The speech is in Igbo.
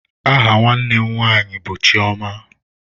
Aha nwanne m nwanyị bụ Chioma.